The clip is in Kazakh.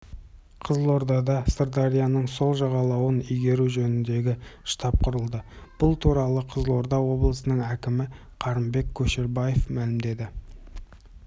қызылордада сырдарияның сол жағалауын игеру жөніндегі штаб құрылды бұл туралы қызылорда облысының әкімі қырымбек көшербаев мәлімдеді